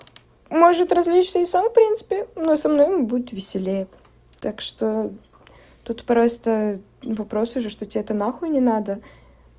может различные сам в принципе но со мной будет веселее так что тут просто вопрос уже что тебе это нахуй не надо